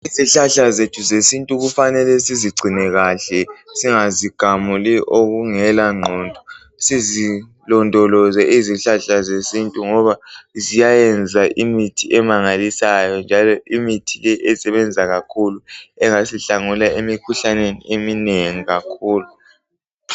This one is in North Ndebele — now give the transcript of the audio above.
Izihlahla zethu zesintu kufanele sizigcine kahle, singazigamuli okungelangqondo. Sizilondoloze izhlahla zesintu ngoba ziyayenza imithi emangalisayo, njalo imithi le esebenza kakhulu engasihlangula emikhuhlaneni eminengi kakhulu.